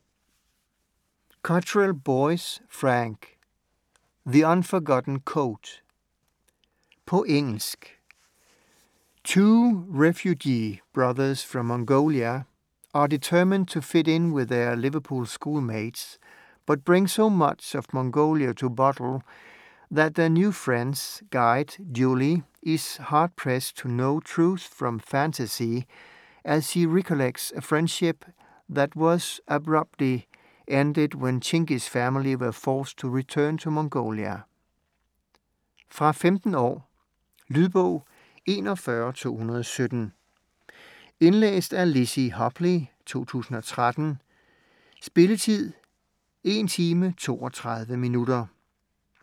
Cottrell Boyce, Frank: The unforgotten coat På engelsk. Two refugee brothers from Mongolia are determined to fit in with their Liverpool schoolmates, but bring so much of Mongolia to Bootle that their new friend's guide, Julie, is hard-pressed to know truth from fantasy as she recollects a friendship that was abruptly ended when Chingis' family were forced to return to Mongolia. Fra 15 år. Lydbog 41217 Indlæst af Lizzie Hopley, 2013. Spilletid: 1 timer, 32 minutter.